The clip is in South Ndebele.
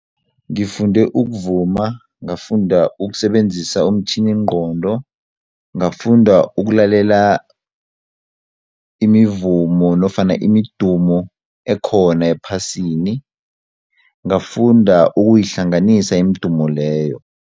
Ngifunde ukuvuma, ngafunda ukusebenzisa umtjhiningqondo, ngafunda ukulalela imivumo nofana imidumo ekhona ephasini ngafunda ukuyihlanganisa imidumo leyo.